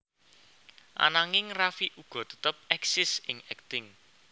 Ananging Raffi uga tetep éksis ing akting